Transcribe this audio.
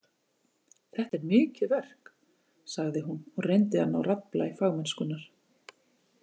Þetta er mikið verk, sagði hún og reyndi að ná raddblæ fagmennskunnar.